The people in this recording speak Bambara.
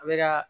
A bɛ ka